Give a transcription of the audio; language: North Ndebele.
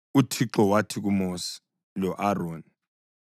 UThixo wathi kuMosi lo-Aroni: